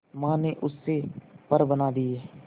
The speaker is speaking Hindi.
मां ने उससे पर बना दिए